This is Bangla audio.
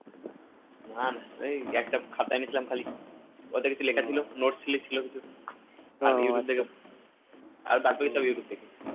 না না ওই একটা খাতা এনেছিলাম খালি ওতে কিছুই লেখা ছিল note ছিল কিছু আর বাদবাকি সব youtube থেকে